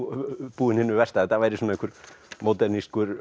búinn hinu versta að þetta væri einhver